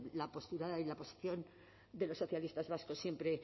la postura y la posición de los socialistas vascos siempre